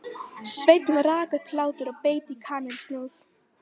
Sveinn rak upp hlátur og beit í kanilsnúð.